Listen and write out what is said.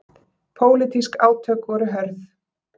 Pólitísk átök voru hörð.